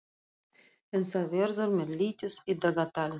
En þá verður mér litið á dagatalið.